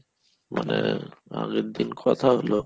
মানে আগেরদিন কথা হলো